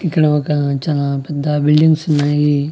ఇక్కడ ఒక చానా పెద్ద బిల్డింగ్స్ ఉన్నాయి.